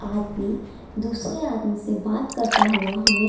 आदमी दूसरे आदमी से बात करता हुए हमे --